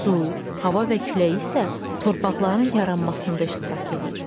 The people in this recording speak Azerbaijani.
Su, hava və külək isə torpaqların yaranmasında iştirak eləyir.